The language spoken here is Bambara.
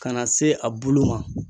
Ka na se a bulu ma.